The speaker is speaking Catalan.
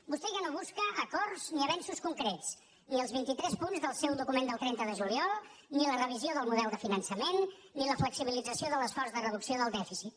vostè ja no busca acords ni avenços concrets ni els vint i tres punts del seu document del trenta de juliol ni la revisió del model de finançament ni la flexibilització de l’esforç de reducció del dèficit